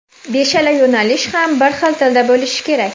Beshala yo‘nalish ham bir xil tilda bo‘lishi kerak.